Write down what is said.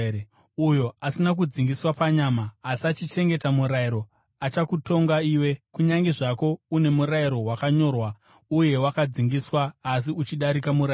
Uyo asina kudzingiswa panyama asi achichengeta murayiro achakutonga iwe, kunyange zvako une murayiro wakanyorwa uye wakadzingiswa, asi uchidarika murayiro.